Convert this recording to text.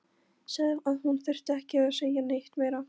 Sagði að hún þyrfti ekki að segja neitt meira.